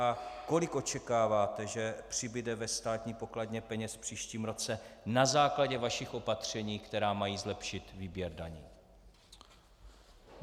A kolik očekáváte, že přibude ve státní pokladně peněz v příštím roce na základě vašich opatření, která mají zlepšit výběr daní?